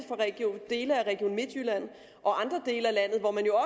dele af region midtjylland og andre dele af landet hvor man jo